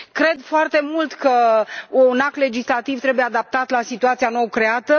Cred foarte mult că un act legislativ trebuie adaptat la situația nou creată.